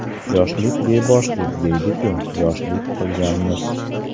Yoshlik beboshlik deydi-ku, yoshlik qilganmiz.